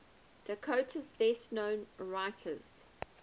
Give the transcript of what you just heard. dakota's best known writers